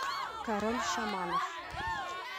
король шаманов